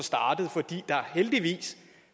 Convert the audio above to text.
fordi der heldigvis